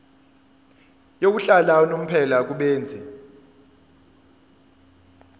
yokuhlala unomphela kubenzi